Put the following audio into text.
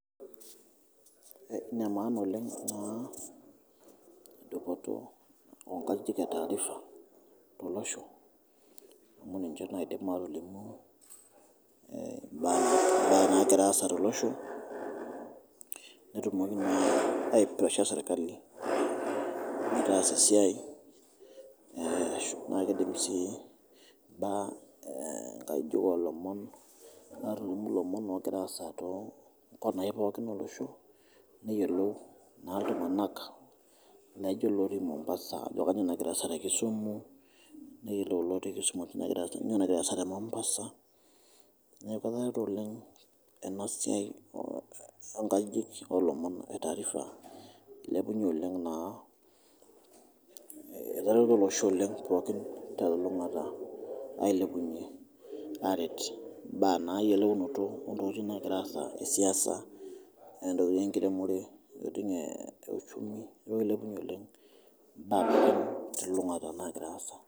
Nemaana oleng dupoto oonkajijik etaarifa te losho amu ninche nadim aatolimu mbaa naagira aasa to loshoo netumoki naa aipresha serikali metaasa esiaai naa keidim sii mbaa enkajijik oolomon etaa elimu lomon oogira aasa te kila kona pookin elosho neyelou naa ltunganak naaijo lotii Mombasa ajo kening' natii aasa te Kisumu neyelou lotii kisumu ajo kanyioo nagira aasa te Mombasa neaku eata oleng ena siaai enkajijik oolomon etaarifa eilepunye oleng naa, etereto losho oleng pookin telulung'ata ailepunye aaret mbaa eyeleunoto ontokitin naagira aasa esiasa ontokitin enkiremore eti neeuchumi naa eilepunye oleng mbaa te lulungata naagira aasa.